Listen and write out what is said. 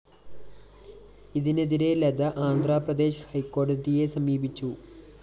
ഇതിനെതിരെ ലത ആന്ധ്രാപ്രദേശ്‌ ഹൈക്കോടതിയെ സമീപിച്ചു